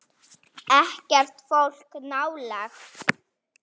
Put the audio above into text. Ekkert fólk nálægt.